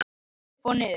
Upp og niður.